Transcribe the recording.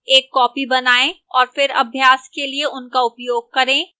एक copy बनाएं और फिर अभ्यास के लिए उनका उपयोग करें